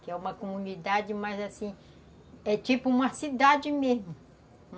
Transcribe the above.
Que é uma comunidade, mas assim, é tipo uma cidade mesmo.